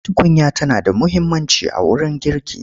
Tukunya tana da muhimmanci a wurin girki.